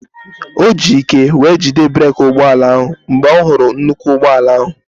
O ji ike wee jide breeki ụgbọala ahụ mgbe ọ hụrụ nnukwu ụgbọala ahụ